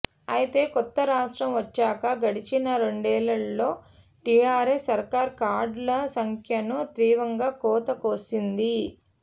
అయితే కొత్త రాష్ట్రం వచ్చాక గడచిన రెండేండ్లలో టీఆర్ఎస్ సర్కారు కార్డుల సంఖ్యను తీవ్రంగా కోత కోసింది